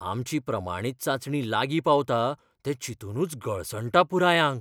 आमची प्रमाणीत चांचणी लागीं पावता तें चिंतूनच गळसणटा पुराय आंग!